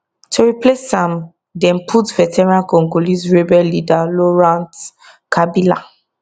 to replace am dem put veteran congolese rebel leader laurent kabila